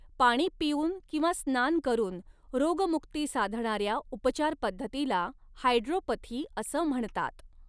पाणी पिऊन किंवा स्नान करून रोगमुक्ती साधणाऱ्या उपचार पद्धतीला हायड्रोपथी असं म्हणतात.